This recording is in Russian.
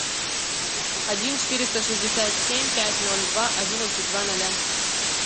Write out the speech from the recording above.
один четыреста шестьдесят семь пять ноль два одиннадцать два ноля